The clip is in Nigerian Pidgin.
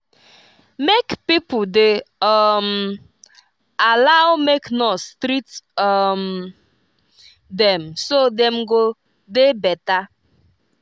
make pipo dey um allow make nurse treat um dem so dem go dey better.